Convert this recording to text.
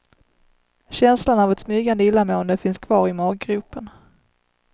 Känslan av ett smygande illamående finns kvar i maggropen.